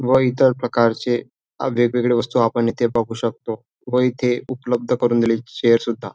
व इतर प्रकारचे वेगवेगळ्या वस्तु आपण इथे बघू शकतो व इथे उपलब्ध करून दिलेली चेअर सुद्धा.